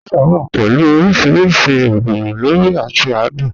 Pizza wà pẹ̀lú ọ̀rìṣìrísì èró lórí è àti àdùn.